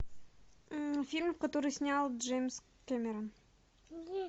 фильм который снял джеймс кэмерон